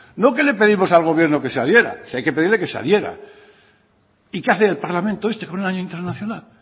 no que le pedimos al gobierno que se adhiera si hay que pedirle que se adhiera y qué hace el parlamento este con el año internacional